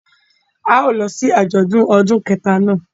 A yóò lọ si ajọdun ọdun kẹta náa